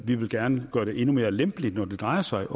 vi vil gerne gøre det endnu mere lempeligt når det drejer sig